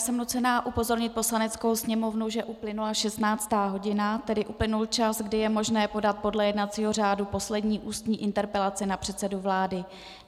Jsem nucena upozornit Poslaneckou sněmovnu, že uplynula 16. hodina, tedy uplynul čas, kdy je možné podat podle jednacího řádu poslední ústní interpelaci na předsedu vlády.